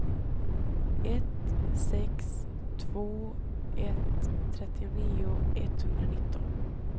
ett sex två ett trettionio etthundranitton